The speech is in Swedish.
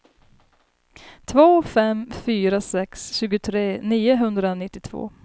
två fem fyra sex tjugotre niohundranittiotvå